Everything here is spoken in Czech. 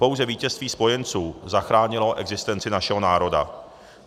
Pouze vítězství spojenců zachránilo existenci našeho národa.